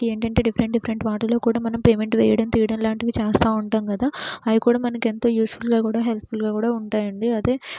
ఏంటంటే different different వాటిలో కూడా మనం పేమెంట్ వేయడం తీయడం లాంటివి చేస్తూ ఉంటాం కదా. అవి కూడా మనకు ఎంతో యూజ్ ఫుల్ గా కూడాహెల్ప్ ఫుల్ గా కూడా ఉంటాయండి. అది--